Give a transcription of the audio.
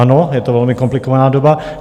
Ano, je to velmi komplikovaná doba.